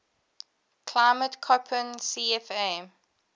climate koppen cfa